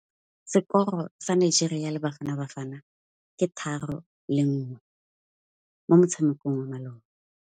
Sekôrô sa Nigeria le Bafanabafana ke 3-1 mo motshamekong wa malôba.